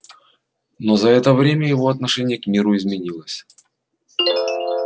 но за это время его отношение к миру изменилось